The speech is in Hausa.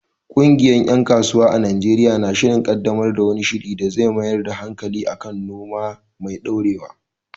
Ƙungiyar ‘yan kasuwa a Najeriya na shirin kaddamar da wani shiri da zai mayar da hankali kan noma mai dorewa.